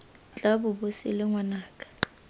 tla bo bo sele ngwanaka